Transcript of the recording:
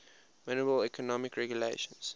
minimal economic regulations